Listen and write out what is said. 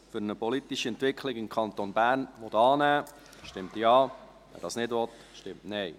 Für eine politische Entwicklung im Kanton Bern» annehmen will, stimmt Ja, wer dies nicht will, stimmt Nein.